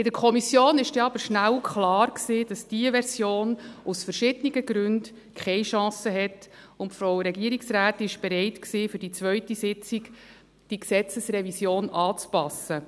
In der Kommission war aber schnell klar, dass diese Version aus verschiedenen Gründen keine Chance hat, und die Regierungsrätin war bereit, die Gesetzesrevision für die zweite Sitzung anzupassen.